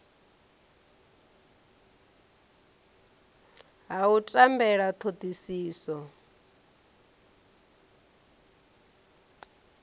ha u tambela ha thodisiso